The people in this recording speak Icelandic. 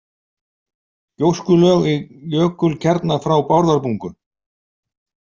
Gjóskulög í jökulkjarna frá Bárðarbungu.